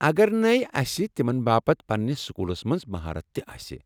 اگر نَے اسہِ تِمن باپت پننِس سكوٗلس منز مہارت تہِ آسہِ ۔